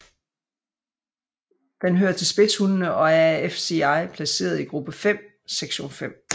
Den hører til spidshundene og er af FCI placeret i gruppe 5 sektion 5